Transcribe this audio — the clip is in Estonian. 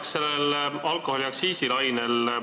Ma jätkan alkoholiaktsiisi lainel.